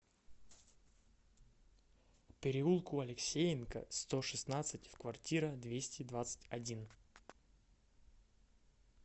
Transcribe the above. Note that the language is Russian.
переулку алексеенко сто шестнадцать в квартира двести двадцать один